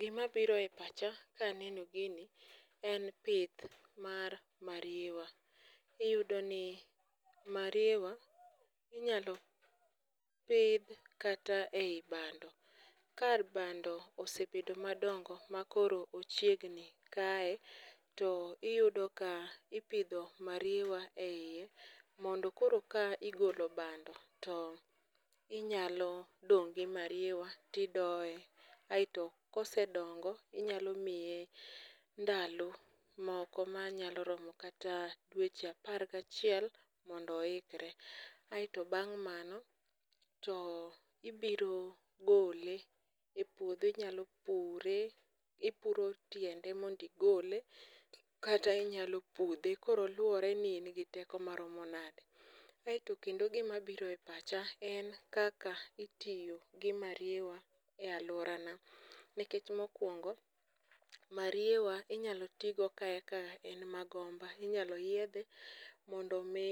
Gimabiro e pacha kaneno gini en pith mar mariewa. Iyudo ni mariewa inyalo pidh kata ei bando, ka bando osebedo madongo makoro ochiegni kaye, to iyudo ka ipidho mariewa e iye mondo koro ka igolo bando to inyalo dong' gi mariewa tidoye. Aeto kosedongo inyalo miye ndalo moko manyalo romo kata dweche apar gachiel mondo oikre. Aeto bang' mano to ibiro gole e puodho, inyalo pure, ipuro tiende mondo igole kata inyalo pudhe. Koro luwore ni in gi teko maromo nade. Aeto kendo gimabiro e pacha en kaka itiyo gi mariewa e alworana. Nikech mokwongo mariewa inyalo ti go ka eka en magomba, inyalo yiedhe mondo omi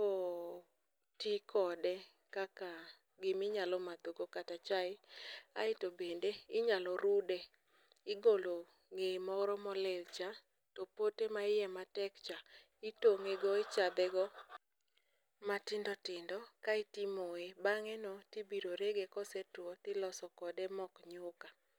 oti kode kaka giminyalo madhogo kata chae. Aeto bende inyalo rude, igolo ng'eye moro molilcha, to pote maiye matek cha, itong'ego, ichathego matindo tindo kaeto imoye, bang'eno tibiro rege kosetuwo tiloso kode mok nyuka.